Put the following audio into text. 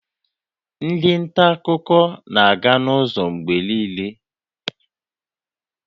Ndị nta akụkọ na-aga n'ụzọ mgbe niile